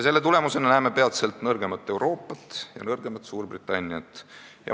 Selle tulemusena näeme peatselt nõrgemat Euroopat ja nõrgemat Suurbritanniat.